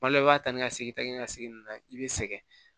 Kuma dɔ la i b'a ta ni segin tɛ ka segin nin na i bɛ sɛgɛn